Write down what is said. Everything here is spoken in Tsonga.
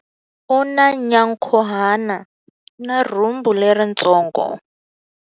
U na nyankhuhana na rhumbu leritsongo.